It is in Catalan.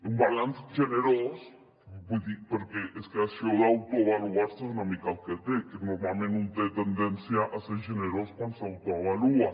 un balanç generós perquè és que això d’autoavaluar se és una mica el que té que normalment un té tendència a ser generós quan s’autoavalua